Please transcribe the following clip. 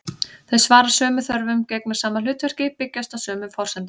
Þau svara sömu þörfum, gegna sama hlutverki, byggjast á sömu forsendum.